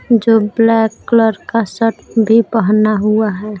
जो black colour का shirt भी पहना हुआ है।